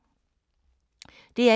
DR1